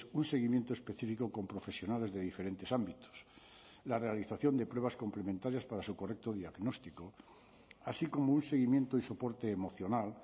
un seguimiento específico con profesionales de diferentes ámbitos la realización de pruebas complementarias para su correcto diagnóstico así como un seguimiento y soporte emocional